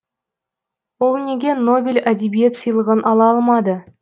ол неге нобель әдебиет сыйлығын ала алмады